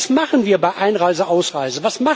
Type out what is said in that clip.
Was machen wir bei Einreise, Ausreise?